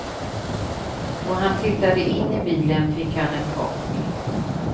Då han tittade in i bilen fick han en chock.